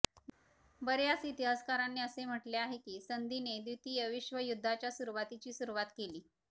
बर्याच इतिहासकारांनी असे म्हटले आहे की संधिने द्वितीय विश्वयुद्धाच्या सुरुवातीची सुरुवात केली